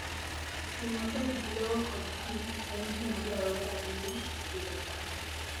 Tiyo maber gi lowo kod pi en gima dwarore ahinya e pidho cham.